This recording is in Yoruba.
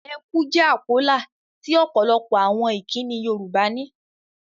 Ẹ kú' jẹ́ àpólà tí ọ̀pọ̀lọpọ̀ àwọn ìkínni Yorùbá ní.